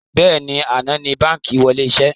Bẹ́ẹ̀ni, àná ni báńkì wọlé iṣẹ́